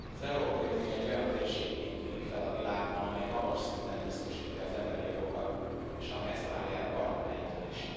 Elnök Úr! Az Európai Unió egy olyan térségként tűnik fel a világban, amely magas szinten biztosítja az emberi jogokat, és amely ezt várja el partnereitől is.